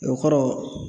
O kɔrɔ